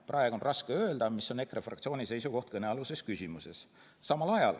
Praegu on raske öelda, mis on EKRE fraktsiooni seisukoht kõnealuses küsimuses.